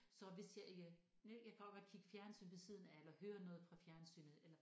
Så hvis jeg ikke jeg kan også godt kigge fjernsyn ved siden af eller høre noget fra fjernsynet eller